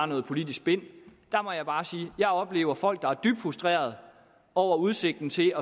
noget politisk spin der må jeg bare sige at jeg oplever folk der er dybt frustreret over udsigten til